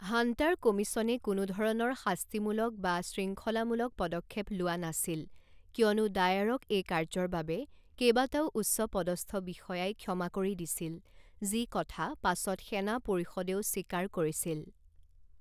Hunter কমিছনে কোনো ধৰণৰ শাস্তিমূলক বা শৃঙ্খলামূলক পদক্ষেপ লোৱা নাছিল কিয়নো ডায়াৰক এই কাৰ্যৰ বাবে কেইবাটাও উচ্চপদস্থ বিষয়াই ক্ষমা কৰি দিছিল, যিকথা পাছত সেনা পৰিষদেও স্বীকাৰ কৰিছিল।